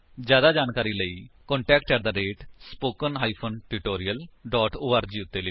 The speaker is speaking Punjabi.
ਜਿਆਦਾ ਜਾਣਕਾਰੀ ਲਈ ਕੰਟੈਕਟ ਸਪੋਕਨ ਟਿਊਟੋਰੀਅਲ ਓਰਗ ਉੱਤੇ ਲਿਖੋ